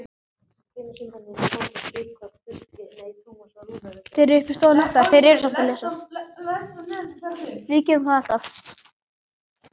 Þeir stóðu í raun og veru hinum megin við hafið.